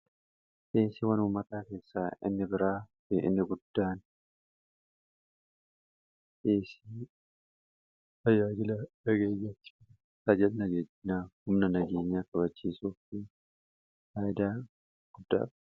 xiinsi wanumataa keessaa inni biraa fi inni guddaan isi hayaajila dhageeyyachi fi sajalnagejjinaa humna nagiinyaa kabachiisuu fi haayadaa guddaara